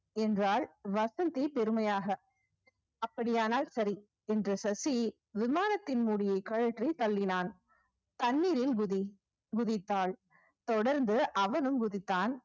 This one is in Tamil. என்றால் வசந்தி பெருமையாக அப்படியானால் சரி இன்று சசி விமானத்தின் மூடியை கழற்றித் தள்ளினான். தண்ணீரில் குதி குதித்தாள் தொடர்ந்து அவனும் குதித்தான்.